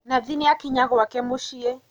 Nathi nīakinya gwake mūciī.